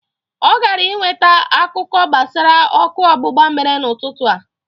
Ọ gara ị nweta akụkọ gbasara ọkụ ọgbụgba mere n'ụtụtụ a.